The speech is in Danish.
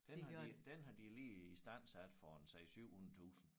Den har de den har de lige istandsat for en 6 700 tusind